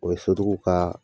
O ye sotigiw ka